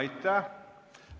Aitäh!